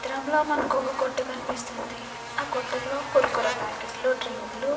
చిత్రంలో మనకు ఒక కొట్టు కనిపిస్తుంది ఆ కొట్టులో కుర్కురే ప్యాకెట్లు డ్రింకు లు.